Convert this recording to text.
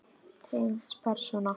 Tengsl persóna